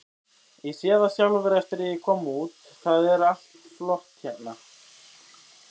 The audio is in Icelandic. Ég sé það sjálfur eftir að ég kom út, það er allt flott hérna.